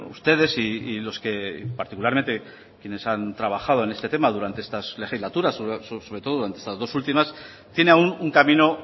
ustedes y los que particularmente quienes han trabajo en este tema durante estas legislaturas sobre todo en estas dos últimas tiene aún un camino